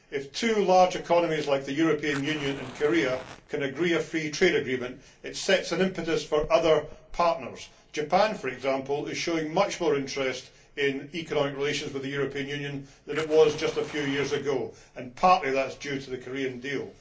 If two large economies like the European Union and Korea can agree a free trade agreement, it sets an impetus for other partners. Japan, for example, is showing much more interest in economic relations with the European Union than it was just a few years ago and partly that is due to the Korean deal.